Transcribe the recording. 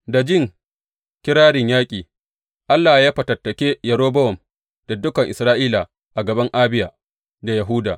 Da ji kirarin yaƙi, Allah ya fatattake Yerobowam da dukan Isra’ila a gaban Abiya da Yahuda.